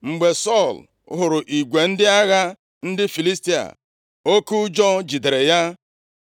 Mgbe Sọl hụrụ igwe ndị agha ndị Filistia, oke ụjọ jidere ya.